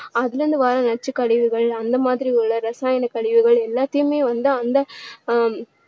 அதுலருந்து வர்ற நச்சு கழிவுகள் அந்த மாதிரி உள்ள இரசாயன கழிவுகள் எல்லாத்தையுமே வந்து அந்த ஆஹ்